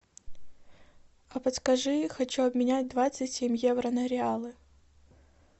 а подскажи хочу обменять двадцать семь евро на реалы